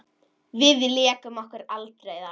Við lékum okkur aldrei þar.